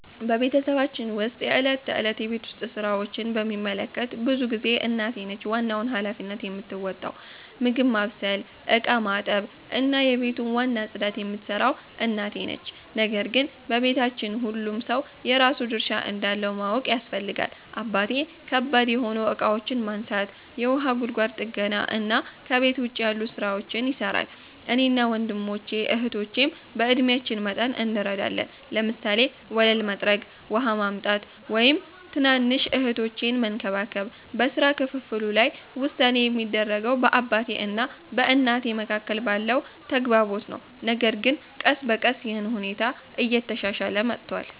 በቤተሰባችን ውስጥ የዕለት ተዕለት የቤት ውስጥ ሥራዎችን በሚመለከት ብዙ ጊዜ እናቴ ነች ዋናውን ሃላፊነት የምትወጣው። ምግብ ማብሰል፣ ዕቃ ማጠብ፣ እና የቤቱን ዋና ጽዳት የምትሠራው እናቴ ነው። ነገር ግን በቤታችን ሁሉም ሰው የራሱን ድርሻ እንዳለው ማወቅ ያስፈልጋል። አባቴ ከባድ የሆኑ እቃዎችን ማንሳት፣ የውሃ ጉድጓድ ጥገና እና ከቤት ውጭ ያሉ ሥራዎችን ይሠራል። እኔና ወንድሞቼ እህቶቼም በዕድሜአችን መጠን እንረዳለን፤ ለምሳሌ ወለል መጥረግ፣ ውሃ ማምጣት፣ ወይም ትናንሽ እህቶቼን መንከባከብ። በሥራ ክፍፍሉ ላይ ውሳኔ የሚደረገው በአባቴ እና በእናቴ መካከል ባለው ተግባቦት ነው፣ ነገር ግን ቀስ በቀስ ይህ ሁኔታ እየተሻሻለ መጥቷል።